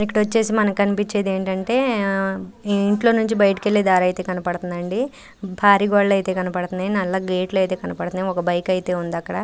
ఇక్కడ వచ్చేసి మనకు కనిపించేది ఏంటంటే ఇంట్లో నుంచి బయటికి వెళ్లే దారైతే కనపడుతుందండి. పరి గోడలు ఐతే కనబడుతున్నాయి. నల్ల గేట్ లు ఐతే కనబడుతున్నాయి. ఒక బైక్ అయితే ఉంది అక్కడ.